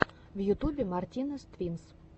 в ютубе мартинез твинс